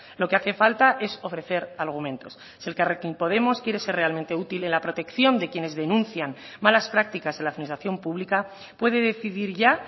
lo que hace falta es ofrecer argumentos si elkarrekin podemos quiere ser realmente útil en la protección de quienes denuncian malas prácticas en la administración pública puede decidir ya